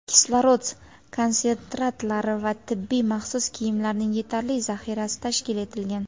kislorod konsentratorlari va tibbiy maxsus kiyimlarning yetarli zaxirasi tashkil etilgan.